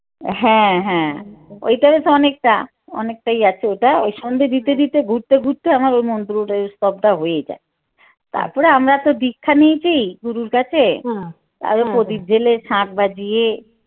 হ্যাঁ হ্যাঁ ওইটারে তো অনেকটা অনেকটাই আছে ওটা ওই সন্ধ্যে দিতে দিতে ঘুরতে ঘুরতে আমার ও মন্ত্রটা স্তবটা হয়েই যায়। তারপরে আমরা তো দীক্ষা নিয়েছি গুরুর কাছে তাও প্রদীপ জ্বেলে শাখ বাজিয়ে